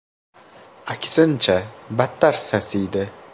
Aksincha, battar sasiydi”.